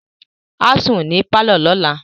Á sùn ní pálọ̀ lọ́la